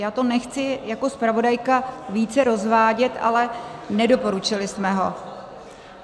Já to nechci jako zpravodajka více rozvádět, ale nedoporučili jsme ho.